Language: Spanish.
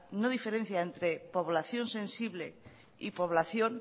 no diferencia entre población sensible y población